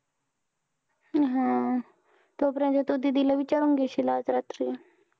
हा. तोपर्यंत तू दीदी ला विचारून घेशील आज रात्री.